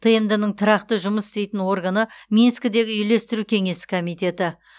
тмд ның тұрақты жұмыс істейтін органы минскідегі үйлестіру кеңесі комитеті